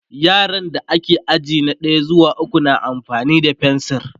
yaran da ke aji na ɗaya zuwa ukwu na amfani da fensir